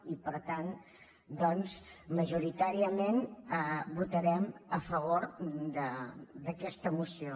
i per tant doncs majoritàriament votarem a favor d’aquesta moció